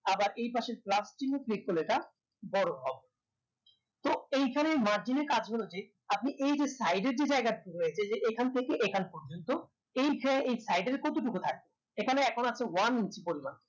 আবার এইপাশে plus চিহ্ন click করলে এটা বড় হবে তো এইখানে এই margin এর কাজগুলো যে আপনি এইযে side এর যে যায়গাটুকু রয়েছে এইযে এখান থেকে এখান পর্যন্ত এইযে side এর কতটুকু থাকে এইখানে একমাত্র one inches পরিমান